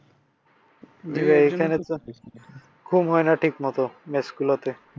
ভাইয়া এইখানে তো ঘুম হয়না ঠিকমত মেসগুলিতে।